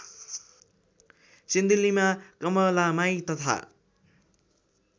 सिन्धुलीमा कमलामाई तथा